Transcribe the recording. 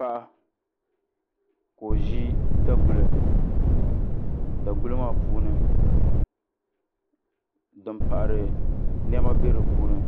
Paɣa ka o ʒi daguli daguli maa puuni din paɣari niɛma bɛ di puuni